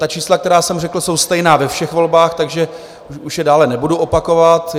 Ta čísla, která jsem řekl, jsou stejná ve všech volbách, takže už je dále nebudu opakovat.